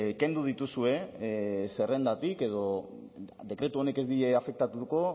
kendu dituzue zerrendatik edo dekretu honek ez die afektatuko